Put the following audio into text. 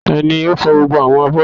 Tani ò fò gbogbo àwọn abọ́ yìí?